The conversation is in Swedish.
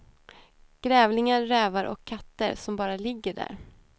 Grävlingar, rävar och katter som bara ligger där.